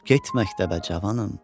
Get məktəbə cavanım.